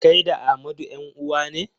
Kai da Amadu 'yan-uwa ne?